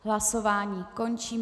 Hlasování končím.